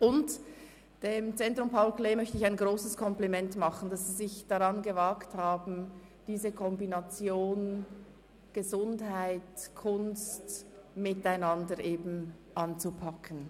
Den Betreffenden vom Zentrum Paul Klee möchte ich ein grosses Kompliment dafür machen, dass sie sich daran gewagt haben, die Kombination von Gesundheit und Kunst miteinander anzupacken.